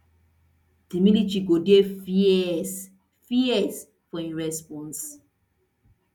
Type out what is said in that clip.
di military go dey fierce fierce for im response